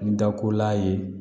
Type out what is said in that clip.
N da ko la ye